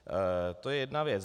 To je jedna věc.